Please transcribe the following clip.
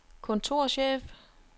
kontorchef